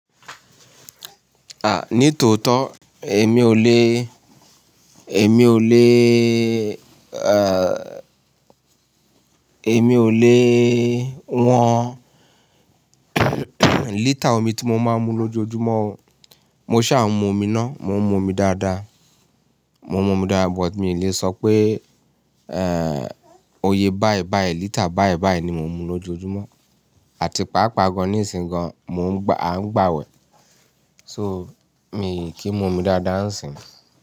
Ah, ní tòótọ́ èmi ò le, èmi ò le, èmi ò le wọn lítà omi tí mo máa ń mu lójoojúmọ́. Mo ṣà ń mu omi ná, mò ń mú omi dáadáa. Mo ń mú omi dáadáa but mi ò le sọ pé, eh, òye báì báì lítà báì báì ni mò ń mu lójoojúmọ́. Àti paapaa gan-an ní ìsìn gan-an mò ń gbà, à ń gbà wẹ̀. So, mi ò kí ń mu omi dáadáa ńsìn.